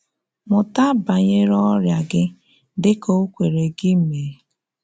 Mụ́tà banyere ọ́rịa gị dị ka o kwere gị mee.